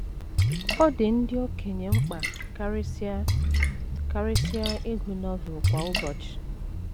Ọ dị ndị okenye mkpa karịsịa karịsịa ịgụ Novel kwa ụbọchị